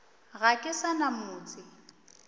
ga ke sa na motse